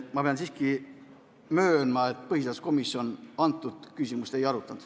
Ma pean siiski möönma, et põhiseaduskomisjon seda küsimust ei arutanud.